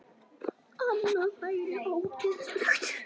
Annað væri óeðlilegt.